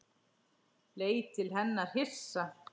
Leit til hennar hissa.